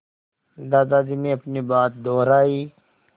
दादाजी ने अपनी बात दोहराई